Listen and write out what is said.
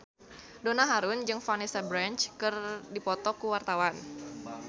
Donna Harun jeung Vanessa Branch keur dipoto ku wartawan